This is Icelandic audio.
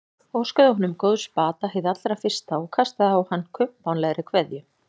Óskaði honum góðs bata hið allra fyrsta og kastaði á hann kumpánlegri kveðju.